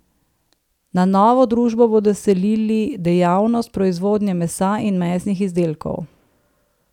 Na novo družbo bodo selili dejavnost proizvodnje mesa in mesnih izdelkov.